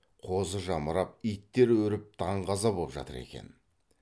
қозы жамырап иттер үріп даңғаза боп жатыр екен